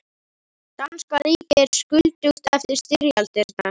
Danska ríkið er skuldugt eftir styrjaldirnar.